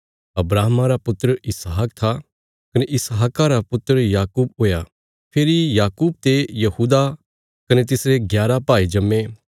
अब्राहमा रा पुत्र इसहाक था कने इसहाका रा पुत्र याकूब हुया फेरी याकूब ते यहूदा कने तिसरे ग्यारा भाई जम्मे